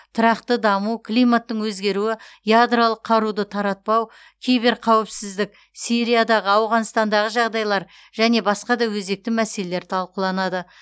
тұрақты даму климаттың өзгеруі ядролық қаруды таратпау киберқауіпсіздік сириядағы ауғанстандағы жағдайлар және басқа да өзекті мәселелер талқыланады